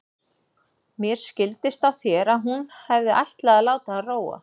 Mér skildist á þér að hún hefði ætlað að láta hann róa.